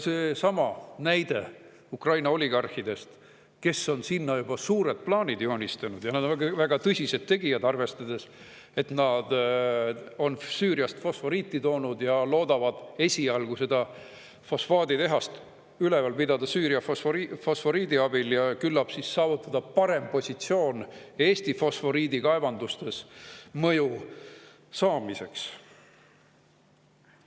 Seesama näide Ukraina oligarhidest, kes on sinna juba suured plaanid joonistanud – nad on väga tõsised tegijad, arvestades, et nad on Süüriast fosforiiti toonud ja loodavad esialgu fosfaaditehast üleval pidada Süüria fosforiidi abil, et küllap saavutada parem positsioon Eesti fosforiidikaevandustes mõju saamiseks.